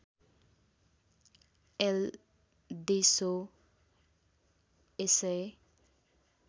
L देसो SA